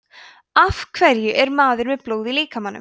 af hverju er maður með blóð í líkamanum